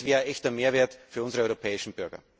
Das wäre echter Mehrwert für unsere europäischen Bürger.